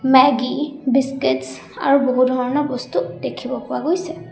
Maggi biscuits আৰু বহু ধৰণৰ বস্তু দেখিব পোৱা গৈছে।